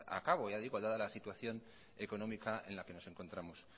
a cabo ya digo dada la situación económica en la que nos encontramos